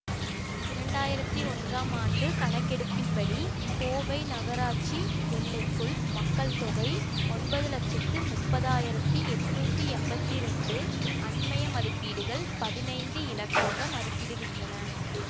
இரண்டு ஆயிரத்தி ஒன்றாம் ஆண்டு கணக்கெடுப்பின்படி கோவை நகராட்சி எல்லைக்குள் மக்கள் தொகை ஒன்பது லட்சத்தி முப்பது ஆயிரத்தி எட்நூத்தி எம்பத்தி ரெண்டு அண்மைய மதிப்பீடுகள் பதினைந்து இலக்கமாக மதிப்பிடுகின்றன